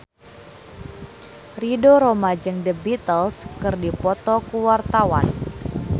Ridho Roma jeung The Beatles keur dipoto ku wartawan